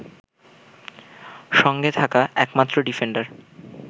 সঙ্গে থাকা একমাত্র ডিফেন্ডার